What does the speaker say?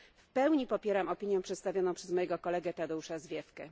W pełni popieram opinię przedstawioną przez mojego kolegę Tadeusza Zwiefkę.